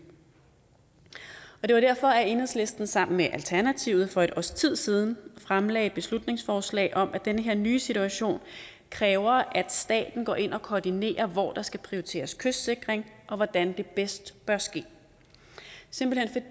det var derfor at enhedslisten sammen med alternativet for et års tid siden fremsatte beslutningsforslag om at den her nye situation kræver at staten går ind og koordinerer hvor der skal prioriteres kystsikring og hvordan det bedst bør ske